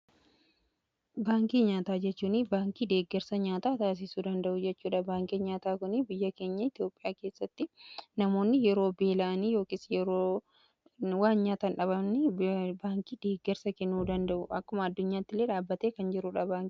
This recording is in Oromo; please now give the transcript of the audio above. baankii nyaataa jechuun baankii deeggarsa nyaataa taasiisuu danda'u jechuudha. baankii nyaataa kunii biyya keenya itiyoophiyaa keessatti namoonni yeroo beela'aanii yookiin yeroo nyaata dhaban baankiin deeggarsa kennuu danda'udha. akkuma addunyaatti illee dhaabbatee kan jiruudhaa.